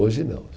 Hoje não.